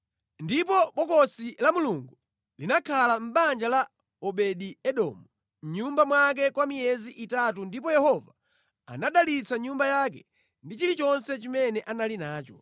Ndipo Bokosi la Mulungu linakhala mʼbanja la Obedi-Edomu mʼnyumba mwake kwa miyezi itatu ndipo Yehova anadalitsa nyumba yake ndi chilichonse chimene anali nacho.